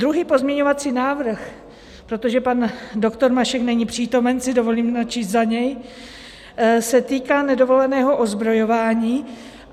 Druhý pozměňovací návrh, protože pan doktor Mašek není přítomen, si dovolím načíst za něj, se týká nedovoleného ozbrojování.